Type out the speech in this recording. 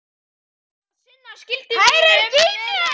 Á að sinna skyldu mínum með reisn.